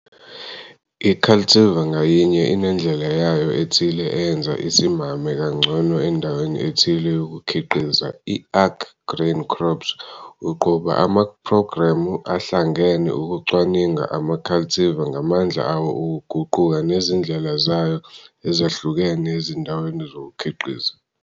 I-Caltivar ngayinye inendlela yayo ethile eyenza isimame kangcono endaweni ethile yokukhiqiza i-ARC-Grain Crops uqhuba amaphrogremu ahlangene ukucwaninga ama-cultivar ngamandla awo okuguquka nezindlela zayo ezahlukene ezindaweni zokukhiqiza.